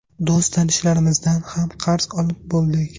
Do‘st tanishlarimizdan ham qarz olib bo‘ldik.